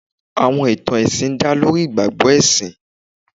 Àwọn ìtàn ẹ̀sìn dá lórí ìgbàgbọ́ ẹ̀sìn.